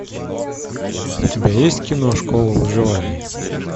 у тебя есть кино школа выживания